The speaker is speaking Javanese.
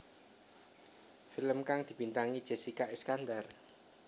Film kang dibintangi Jessica Iskandar